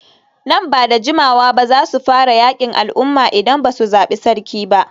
Nan ba da jimawa ba za su fara yakin al'umma idan ba su zabi sarki ba.